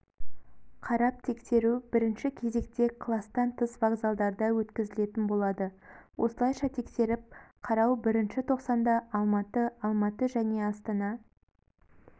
қарап-тексеру бірінші кезекте класттан тыс вокзалдарда өткізілетін болады осылайша тексеріп-қарау бірінші тоқсанда алматы алматы және астана